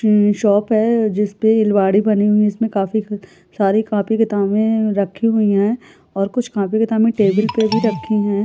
ई shop है। जिस पे अलमारी बनी हुई है। इसमे काफी सारी कॉपी किताबे रखी हुई है और कुछ कॉपी किताबे टेबिल पे भी रखी हैं। ।